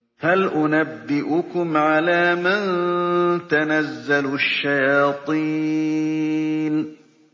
هَلْ أُنَبِّئُكُمْ عَلَىٰ مَن تَنَزَّلُ الشَّيَاطِينُ